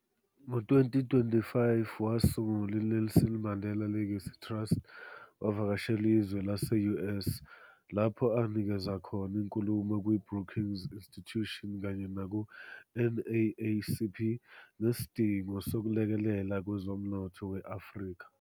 Ngo 2005, wasungula i-Nelson Mandela Legacy Trust, wavakashela izwe lase-US, lapho anikeza khona inkulumo kwi-Brookings Institution kanye naku-NAACP ngesidingo sokulekelela kwezomnotho we-Afrika.